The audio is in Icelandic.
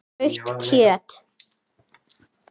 Rautt kjöt.